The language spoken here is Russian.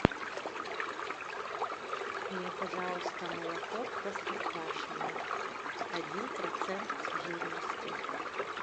мне пожалуйста молоко простоквашино один процент жирности